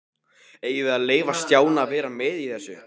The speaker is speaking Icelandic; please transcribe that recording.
Eigum við að leyfa Stjána að vera með í þessu?